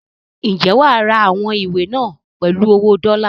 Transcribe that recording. Ǹjẹ́ wà á ra àwọn ìwé náà pèlú owó dọ́lá?